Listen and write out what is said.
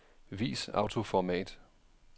Vis autoformat.